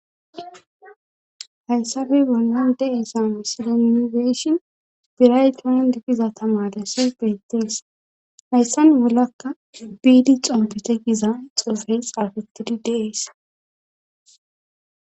Hayssafe bollan de'esame silemigeshin diraytoman digiza tamarese bettins hayssan bollakka biidi xompete giza xofey xaafettidi deees